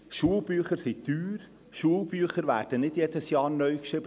Schulbücher sind teuer, Schulbücher werden nicht jedes Jahr neu geschrieben.